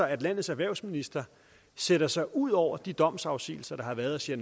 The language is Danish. at landets erhvervsminister sætter sig ud over de domsafsigelser der har været og siger